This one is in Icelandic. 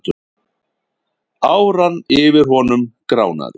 Áran yfir honum gránaði.